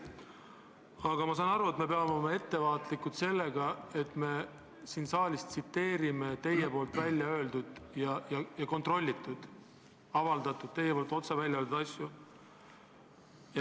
Aga ma saan aru, et me peame olema ettevaatlikud, kui me siin saalis tsiteerime teie poolt öeldud, avaldatud, teie poolt otse välja öeldud asju.